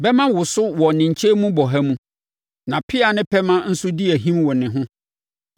Bɛmma woso wɔ ne nkyɛn mu bɔha mu, na pea ne pɛmɛ nso di ahim wɔ ne ho.